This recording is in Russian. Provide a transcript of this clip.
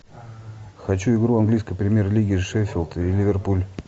хочу игру английской премьер лиги шеффилд и ливерпуль